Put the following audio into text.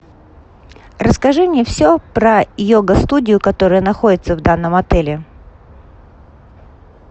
расскажи мне все про йога студию которая находится в данном отеле